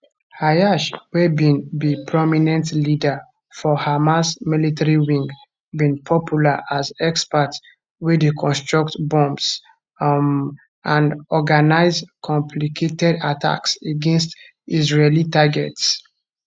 ayyash wey bin be prominent leader for hamas military wing bin popular as expert wey dey construct bombs um and organise complicated attacks against israeli targets